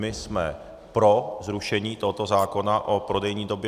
My jsme pro zrušení tohoto zákona o prodejní době.